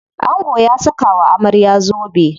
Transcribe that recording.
Angon ya saka wa amarya zobe.